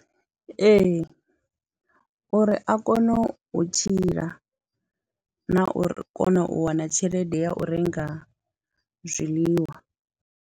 Ee, uri a kone u tshila na u kona u wana tshelede ya u renga zwiḽiwa.